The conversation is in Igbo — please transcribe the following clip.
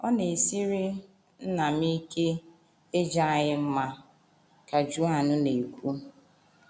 “ Ọ na - esiri nna m ike ịja anyị mma, ” ka Joan na - ekwu.